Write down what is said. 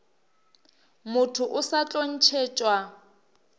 motho o sa tlo ntšhetšwa